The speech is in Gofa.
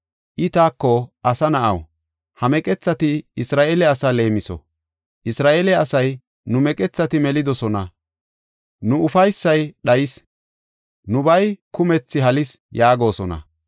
I taako, “Asa na7aw, ha meqethati Isra7eele asaa leemiso; Isra7eele asay, ‘Nu meqethati melidosona; nu ufaysay dhayis; nubay kumethi halis’ yaagosona.